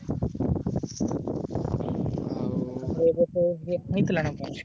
ଆଉ ଏ ବର୍ଷ ପାଣି ହେଇଥିଲା ନା ତମର?